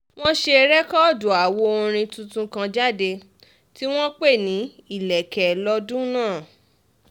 wọ́n ṣe rẹ́kọ́ọ̀dù àwo orin tuntun kan jáde tí wọ́n pè ní ìlẹ̀kẹ̀ lọ́dún náà